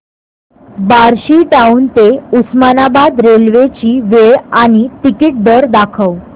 Barshi town ते Osmanabad railway ची वेळ आणि तिकीट दर दाखव